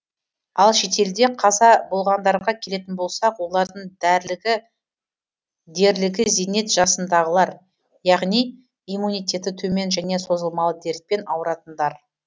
ал шетелде қаза болғандарға келетін болсақ олардың дерлігі зейнет жасындағылар яғни иммунитеті төмен және созылмалы дертпен ауыратындар